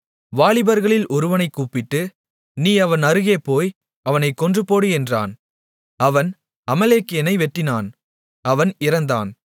வாலிபர்களில் ஒருவனைக் கூப்பிட்டு நீ அவன் அருகே போய் அவனைக் கொன்றுபோடு என்றான் அவன் அமலேக்கியனை வெட்டினான் அவன் இறந்தான்